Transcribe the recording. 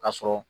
Ka sɔrɔ